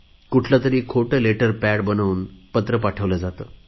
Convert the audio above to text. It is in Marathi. कुठले तरी खोटे लेटर पॅड बनवून पत्र पाठवले जाते